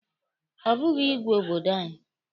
Ọ bụghị ịgwe obodo anyị.